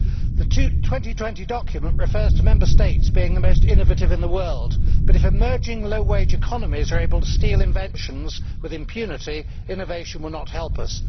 The 2020 document refers to Member States being the most innovative in the world, but if emerging low wage economies are able to steal inventions with impunity, innovation will not help us.